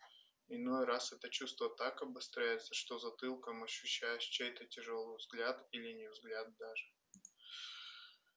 иной раз это чувство так обостряется что затылком ощущаешь чей-то тяжёлый взгляд или не взгляд даже